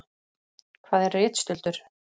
Hvað er ritstuldur?